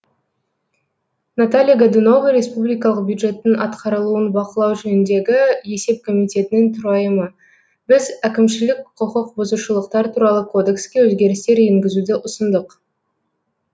наталья годунова республикалық бюджеттің атқарылуын бақылау жөніндегі есеп комитетінің төрайымы біз әкімшілік құқық бұзушылықтар туралы кодекске өзгерістер енгізуді ұсындық